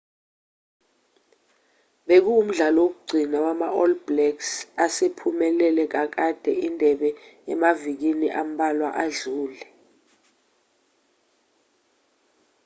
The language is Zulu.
bekuwumdlalo wokugcina wama-all blacks asephumelele kakade indebe emavikini ambalwa adlule